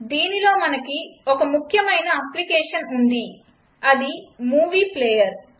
దీన్లో మనకి ఒక ముఖ్యమైన అప్లికేషన్ ఉంది అది మూవీ ప్లేయర్